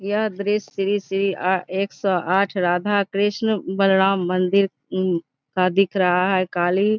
यह दृश्य श्री श्री आ एक सौ आठ राधा कृष्णा बलराम मंदिर का दिख रहा है काली --